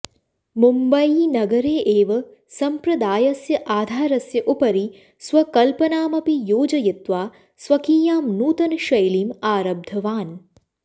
मुम्बयीनगरे एव सम्प्रदायस्य आधारस्य उपरि स्वकल्पनामपि योजयित्वा स्वकीयां नूतनशैलीम् आरब्धवान्